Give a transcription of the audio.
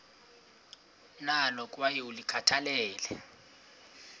nalo kwaye ulikhathalele